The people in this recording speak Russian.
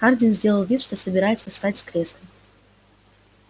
хардин сделал вид что собирается встать с кресла